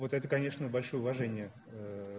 вот это конечно большое уважение